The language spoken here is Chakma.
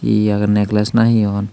ye age neckless na hee hon.